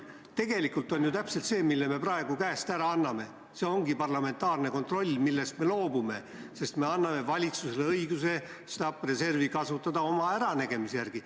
Tegelikult on ju täpselt see, mille me praegu käest ära anname, parlamentaarne kontroll – see, millest me loobume –, sest me anname valitsusele õiguse kasutada stabiliseerimisreservi oma äranägemise järgi.